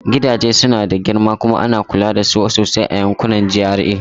Gidaje suna da girma kuma ana kula da su sosai a yankunan GRA.